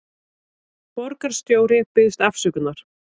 Borgarstjóri biðjist afsökunar